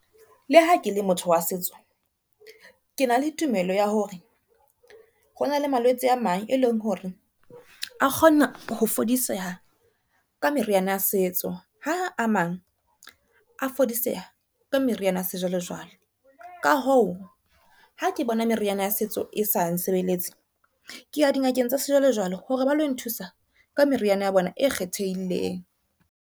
Le ha ke le motho wa setso, ke na le tumelo ya hore hona le malwetse a mang, e leng hore a kgona ho fodiseha ka meriana ya setso, ha a mang a fodiseha ka meriana ya sejwalejwale. Ka hoo ha ke bona meriana ya setso e sa nsebeletse ke ya dingakeng tsa sejwalejwale hore ba lo nthusa ka meriana ya bona e kgethehileng.